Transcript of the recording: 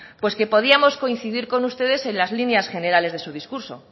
pues que podíamos coincidir con ustedes en las líneas generales de su discurso